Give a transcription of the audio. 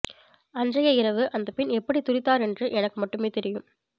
அன்றைய இரவு அந்த பெண் எப்படி துடித்தார் என்று எனக்கு மட்டுமே தெரியும